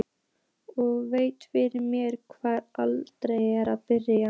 Og velti fyrir mér hvar eigi að byrja.